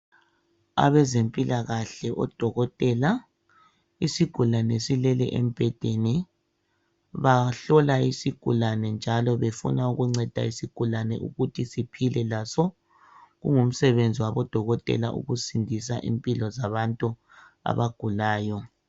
Abezempilakahle odokotela isigulane silele embhedeni bahlola isigulane njalo befuna ukunceda isigulane ukuthi siphile laso kungumsebenzi wabo dokotela ukusindisa impilo zabantu abagulayo.